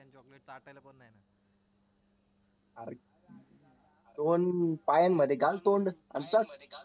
अरे दोन पायांमध्ये घालतोंड आणि टाक